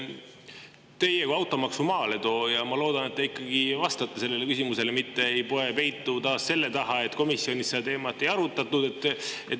Teie kui automaksu maaletooja, ma loodan, ikkagi vastate sellele küsimusele, mitte ei poe taas peitu selle taha, et komisjonis seda teemat ei arutatud.